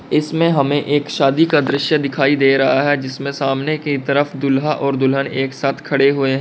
इसमें हमें एक शादी का दृश्य दिखाई दे रहा है जिसमें सामने की तरफ दूल्हा और दुल्हन एक साथ खड़े हुए हैं।